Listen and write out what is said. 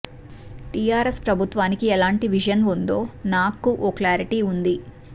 TRS ప్రభుత్వానికి ఎలాంటి vision ఉందో నాగ్ కు ఓ క్లారిటీ ఉంది